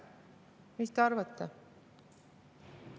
Mis te arvate?